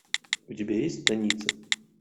у тебя есть станица